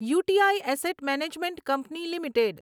you T I asset management company limited